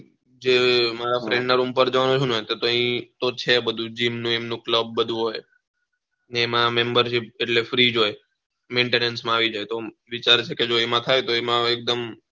જે મારા FRIEND ના રૂમ પાર જવાનો છું ને તો એ છે બધું GEMને CLUB બધું હોઈ એમાં MEMBER SHIP ને એટલે FREE જ હોઈ MAINTENANCE માં આવી જાય તો વિચાર છે કે જો એમાં તઝાઈ તો એકદમ